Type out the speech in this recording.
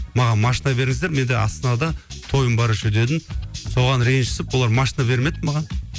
маған машина беріңіздер мен де астанада тойым бар еще дедім соған ренжісіп олар машина бермеді маған